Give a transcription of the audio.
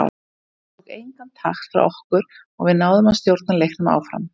Þetta tók engan takt frá okkur og við náðum að stjórna leiknum áfram.